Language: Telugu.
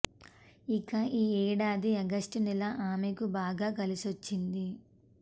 ఇక ఈ ఏడాది ఆగస్టు నెల ఆమె కు బాగా కలిసొచ్చింది